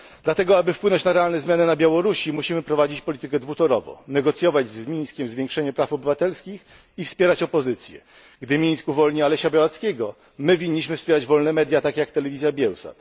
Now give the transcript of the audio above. Dlatego, aby wpłynąć na realne zmiany na Białorusi, musimy prowadzić politykę dwutorowo negocjować z Mińskiem zwiększenie praw obywatelskich i wspierać opozycję. Gdy Mińsk uwolni Alesia Białackiego, powinniśmy wesprzeć wolne media, takie ja telewizja Biełsat